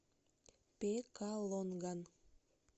пекалонган